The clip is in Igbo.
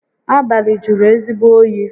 Abalị jụrụ ezigbo oyi